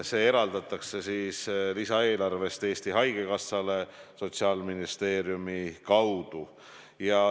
See eraldatakse lisaeelarvest Eesti Haigekassale Sotsiaalministeeriumi kaudu.